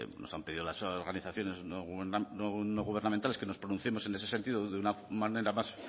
nos han pedido las organizaciones no gubernamentales que nos pronunciemos en ese sentido de una manera más